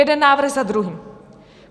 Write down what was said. Jeden návrh za druhým.